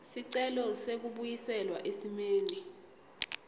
sicelo sekubuyiselwa esimeni